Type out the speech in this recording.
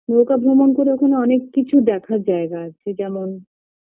নৌকা ভ্রমণ করে ওখানে অনেক কিছু দেখার জায়গা আছে যেমন